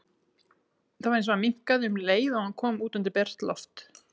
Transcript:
Það var eins og hann minnkaði um leið og hann kom út undir bert loft.